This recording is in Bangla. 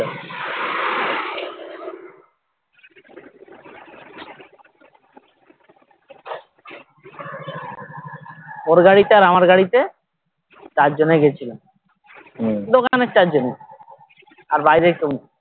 ওর গাড়িতে আর আমার গাড়িতে চারজনে গেছিলাম দোকানের চার জন ই আর বাইরের কেউ না